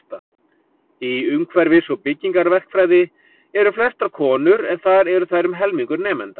Í umhverfis- og byggingarverkfræði eru flestar konur en þar eru þær um helmingur nemenda.